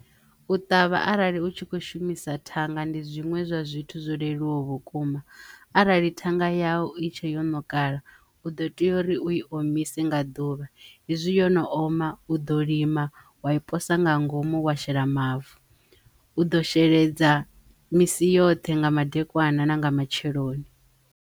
U ṱavha arali u tshi kho shumisa thanga ndi zwiṅwe zwa zwithu zwo leluwaho vhukuma arali thanga yau itshe yo ṋukala u ḓo tea uri u i omise nga ḓuvha hezwi yo no oma u ḓo lima wa i posa nga ngomu wa shela mavu, u ḓo sheledza misi yoṱhe nga madekwana na nga matsheloni.